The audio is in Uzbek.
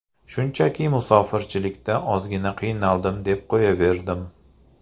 Shunchaki musofirchilikda ozgina qiynaldim deb qo‘yaverdim.